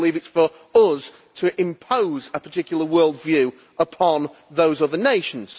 I do not believe it is for us to impose a particular worldview upon those other nations.